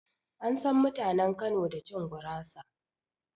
An san mutanen Kano da cin gurasa